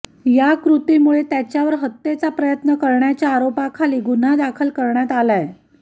या कृतीमुळे त्याच्यावर हत्येचा प्रयत्न करण्याच्या आरोपाखाली गुन्हा दाखल करण्यात आलाय